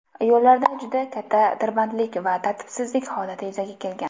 Yo‘llarda juda katta tirbandlik va tartibsizlik holati yuzaga kelgan.